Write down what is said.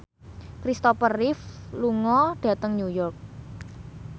Kristopher Reeve lunga dhateng New York